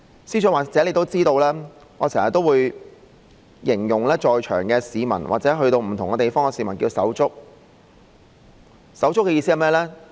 司長或許也知道，我經常形容在場的市民或到不同地方遇到的市民為"手足"，手足的意思是甚麼？